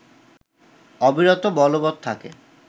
অবিরত বলবত থাকে